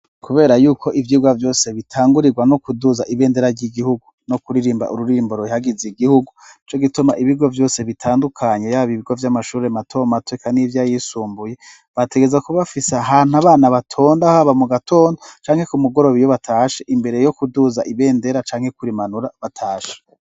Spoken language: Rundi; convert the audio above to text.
Kubera yuko ivyigwa byose bitangurirwa no kuduza ibendera ry'igihugu no kuririmba ururimbo ruihagize igihugu co gituma ibigo byose bitandukanye yaba ibigo vy'amashuri matom atwika n'ibyo ayisumbuye bategereza ku bafisa ahantu abana batonda haba mu gatondo canke ku mugorobe iyo batashe imbere yo kuduza ibendera canke kurimanura batashe.